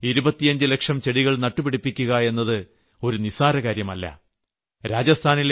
രാജസ്ഥാനിൽ 25 ലക്ഷം ചെടികൾ നട്ടു പിടിപ്പിക്കുക എന്നത് ഒരു നിസ്സാര കാര്യമല്ല